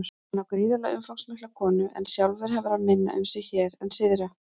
Hann á gríðarlega umfangsmikla konu en sjálfur hefur hann minna um sig hér en syðra.